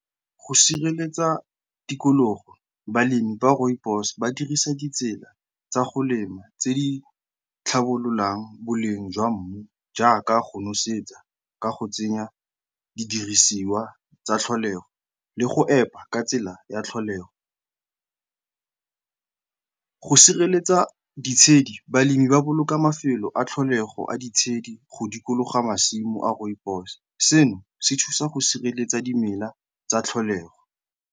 Go sireletsa tikologo, balemi ba rooibos ba dirisa ditsela tsa go lema tse di tlhabololang boleng jwa mmu jaaka go nosetsa ka go tsenya didirisiwa tsa tlholego le go epa ka tsela ya tlholego. Go sireletsa ditshedi, balemi ba boloka mafelo a tlholego a ditshedi go dikologa masimo a rooibos, seno se thusa go sireletsa dimela tsa tlholego.